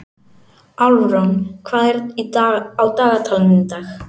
Álfrún, hvað er á dagatalinu í dag?